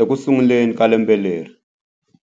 Ekusunguleni ka lembe leri,